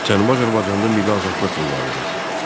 Cənubi Azərbaycanda milli azadlıq mübarizəsi.